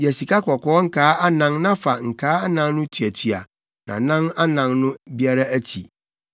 Yɛ sikakɔkɔɔ nkaa anan na fa nkaa anan no tuatua nʼanan anan no biara akyi